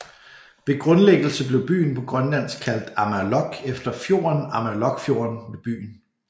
Ved grundlæggelse blev byen på grønlandsk kaldt Amerloq efter fjorden Amerloqfjorden ved byen